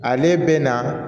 Ale bɛ na